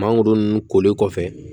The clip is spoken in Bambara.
Mangoro nun koli kɔfɛ